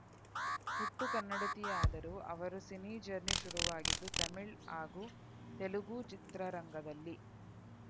ಹುಟ್ಟು ಕನ್ನಡತಿಯಾದರೂ ಅವರು ಸಿನಿ ಜರ್ನಿ ಶುರುವಾಗಿದ್ದು ತಮಿಳು ಹಾಗೂ ತೆಲುಗು ಚಿತ್ರರಂಗದಲ್ಲಿ